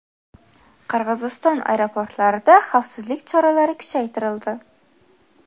Qirg‘iziston aeroportlarida xavfsizlik choralari kuchaytirildi.